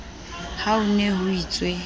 ha ho ne ho itswe